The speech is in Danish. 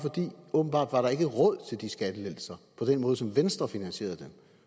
åbenbart ikke råd til de skattelettelser på den måde som venstre finansierede dem